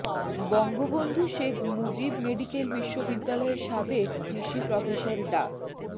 Bangabandhu Sheikh Mujib medical বিশ্ববিদ্যালয়ের সাবেক VC professor ডা